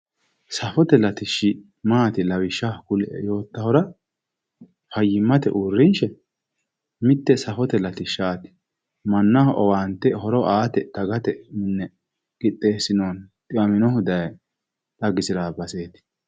Safote latishhsi maati lawishshaho kulie yoottahura fayyimmate uurrinshi mitte safote latishshaati mannaho owaante aate dagate qixxeessinoonni dhiwaminohu daye xagisirawo baseeti